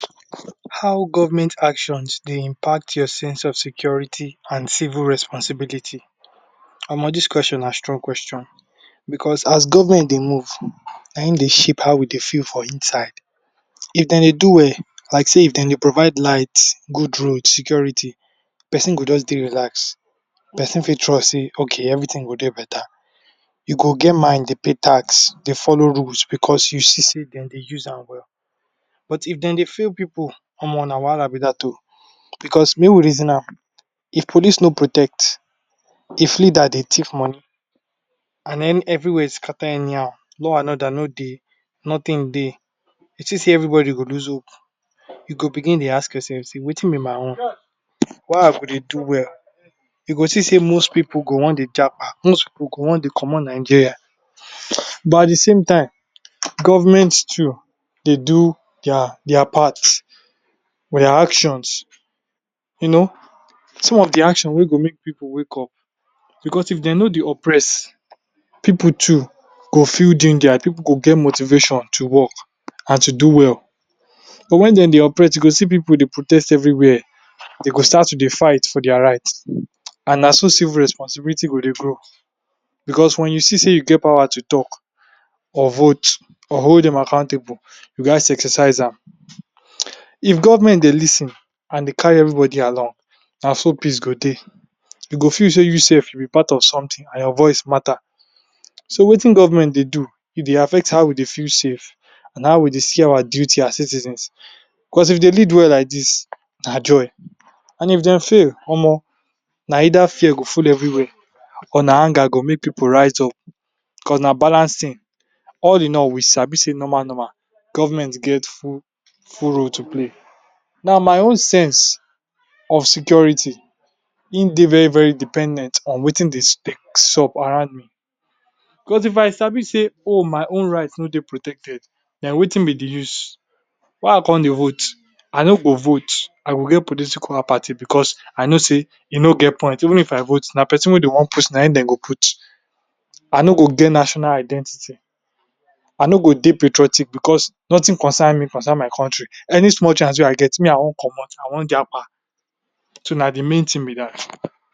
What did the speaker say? How government actions dey impact your sense of security and civil responsibility. dis question na strong question becos as government dey move, na im dey shape how we dey feel for inside, if dem dey do well, like sey if dem dey provide light, good road, security, person go just dey relaxed, person fit trust sey ok, everything go dey beta. You go get mind dey pay tax, dey follow rules becos you see sey dem dey use am well. But if dem dey fail pipu na be dat o becos make we reason am, if police no protect, if leader dey thief money and any every where scatter anyhow, law and order no dey, nothing dey, you think sey everybody go lose hope? You go begin dey ask yoursef sey wetin be my own? why I go dey do well, you go see sey most pipu go want dey most pipu go want dey comot Nigeria. But at de same time, government too dey do dia dia part but dia actions, you know, some of de actions wey go make pipu wakeup becos if dey no dey oppress, pipu too go feel gingered, pipu go get motivation to work and to do well. But when dey dey oppress, you go see pipu dey protest everywhere, dey go start to dey fight for dia right and na so civil responsibility go dey grow becos when you see sey you get power to talk or vote or hold dem accountable, you gats exercise am. If government dey lis ten and dey carry everybody along, na so peace go dey, you go feel sey you sef you be part of something and your voice matter so wetin government dey do, e dey affect how we dey feel safe and how we dey see our duty as citizens. Becos if dey led well like dis, na joy and if dey fail, na either fear go full everywhere or na anger go make pipu rise up becos na balance thing. All in all, we sabi sey normal normal, government get full full role to play. Now my own sense of security, im dey very very dependent on wetin dey dey sup around me becos if I sabi sey o, my own right no dey protected, den wetin be de use, why I come dey vote? I no go vote. I go get political apathy becos I know sey e no get point, even if I vote, na person wey dey want put na im dem go put. I no go get national identity. I no go dey patriotic becos nothing concern me concern my country. Any small chance wey I get, me I want comot, I want so na de main thing be dat.